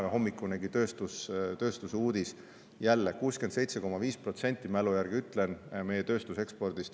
Tänahommikunegi uudis tööstuse kohta näitas jälle, et meie tööstus toodab 67,5%, mälu järgi ütlen, ekspordiks.